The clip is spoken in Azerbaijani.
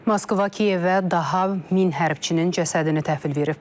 Moskva Kiyevə daha min hərbçinin cəsədini təhvil verib.